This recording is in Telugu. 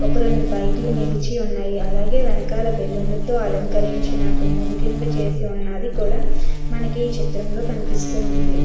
ఒక రెండు బైకులు నిలిచి ఉన్నాయి అలాగే వెనకాల బెలూన్ లతో అలంకరించిన గుమ్మం కింద చేసి ఉన్నది కూడా మనకి ఈ చిత్రంలో కనిపిస్తూ ఉంది.